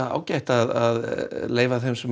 ágætt að leyfa þeim